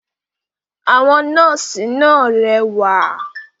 Àwọn “nọ́ọ̀sí” náà rẹwà.